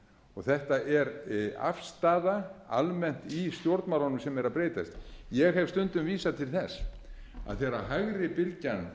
og þetta er afstaða almennt í stjórnmálunum sem er að breytast ég hef stundum vísað til þess að þegar hægri bylgjan